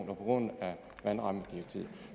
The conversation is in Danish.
på grund af vandrammedirektivet